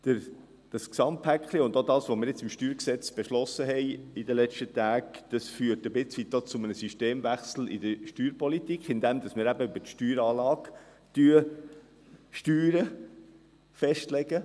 Dieses Gesamtpäckchen und auch das, was wir in den letzten Tagen zum StG beschlossen haben, führt ein Stück weit zu einem Systemwechsel in der Steuerpolitik, indem wir eben über die Steueranlage steuern und die Höhe festlegen.